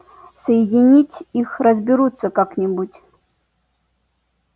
соединить их разберутся как-нибудь